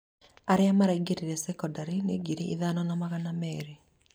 aria maraingĩra cekondarĩ nĩ ngiri ithano na magana merĩ.